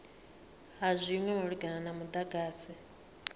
ha zwinwe malugana na mudagasi